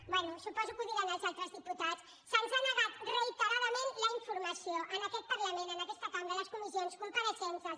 bé suposo que ho diran els altres diputats se’ns ha negat reiteradament la informació en aquest parlament en aquesta cambra les comissions compareixences